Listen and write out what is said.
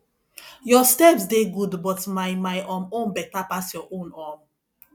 your steps dey good but my my um own beta pass your own um